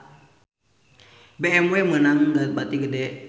BMW meunang bati gede